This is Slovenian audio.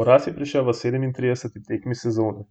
Poraz je prišel v sedemintrideseti tekmi sezone,